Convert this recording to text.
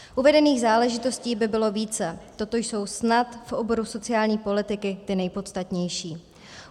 Uvedených záležitostí by bylo více, toto jsou snad v oboru sociální politiky ty nejpodstatnější.